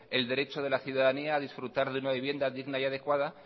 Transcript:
el derecho de la ciudadanía a disfrutar de una vivienda digna y adecuada